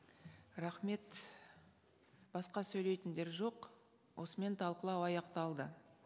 рахмет басқа сөйлейтіндер жоқ осымен талқылау аяқталды